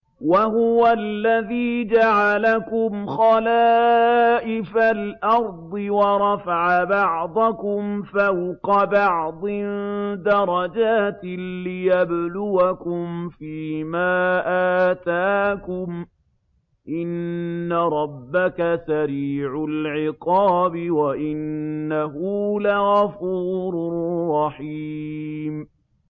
وَهُوَ الَّذِي جَعَلَكُمْ خَلَائِفَ الْأَرْضِ وَرَفَعَ بَعْضَكُمْ فَوْقَ بَعْضٍ دَرَجَاتٍ لِّيَبْلُوَكُمْ فِي مَا آتَاكُمْ ۗ إِنَّ رَبَّكَ سَرِيعُ الْعِقَابِ وَإِنَّهُ لَغَفُورٌ رَّحِيمٌ